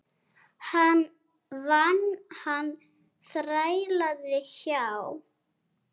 Hann vann, hann þrælaði hjá